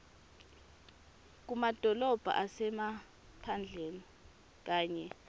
kumadolobha asemaphandleni kanye